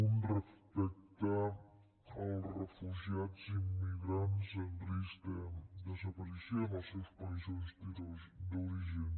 un respecte als refugiats immigrants en risc de desaparició en els seus països d’origen